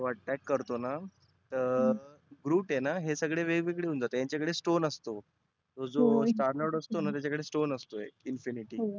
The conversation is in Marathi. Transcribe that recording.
तो attack करतोना तर groot आहेना हे सगळे वेगवेगळे होऊन जाते. यांच्याकडे stone असतो. तो जो दानव असतोना त्याच्या जवळ stone असतो एक infinity